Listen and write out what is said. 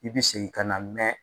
I bi segin ka na mɛn.